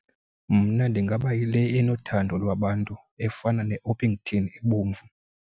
Mna ndingaba yile enothando lwabantu efana ne-Orpington ebomvu.